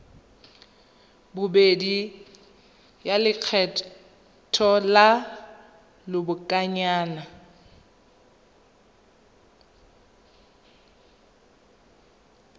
bobedi ya lekgetho la lobakanyana